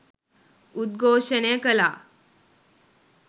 උද්ඝෝෂණය කළා